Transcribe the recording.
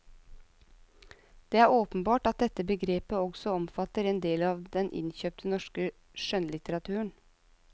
Det er åpenbart at dette begrepet også omfatter en del av den innkjøpte norske skjønnlitteraturen.